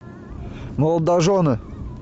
молодожены